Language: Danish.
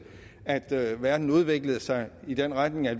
at det i verden udviklede sig i den retning at